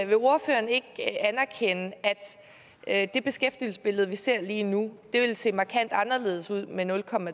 vil ordføreren ikke anerkende at det beskæftigelsesbillede vi ser lige nu vil se markant anderledes ud med nul